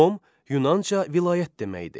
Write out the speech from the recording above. Nom, Yunanca vilayət deməkdir.